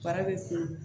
Bara bɛ funu